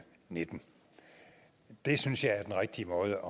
nitten det synes jeg er den rigtige måde